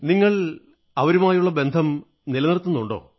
നിങ്ങൾ അവരുമായുള്ള ബന്ധം നിലനിർത്തുന്നുണ്ടോ